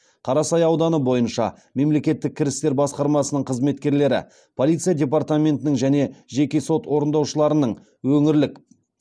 қарасай ауданы бойынша мемлекеттік кірістер басқармасының қызметкерлері полиция департаментінің және жеке сот орындаушыларының өңірлік